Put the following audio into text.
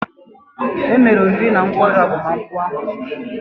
E mere oriri na nkwari agbamakwụkwọ ahụ ozugbo.